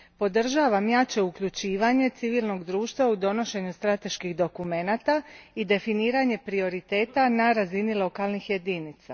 Podržavam jače uključivanje civilnog društva u donošenju strateških dokumenata i definiranje prioriteta na razini lokalnih jedinica.